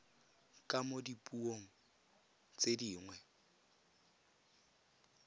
ka mo dipuong tse dingwe